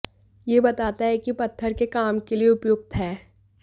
यह बताता है कि पत्थर के काम के लिए उपयुक्त है